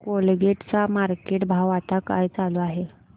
Colgate चा market भाव आता काय चालू आहे